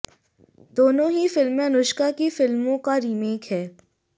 दोनों ही फिल्में अनुष्का की फिल्मों का रीमेक हैं